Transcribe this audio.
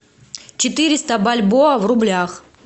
четыреста бальбоа в рублях